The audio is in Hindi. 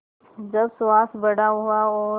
जब सुहास बड़ा हुआ और